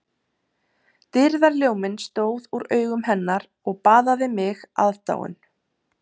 Dýrðarljóminn stóð úr augum hennar og baðaði mig aðdáun